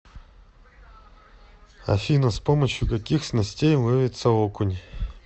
афина с помощью каких снастей ловится окунь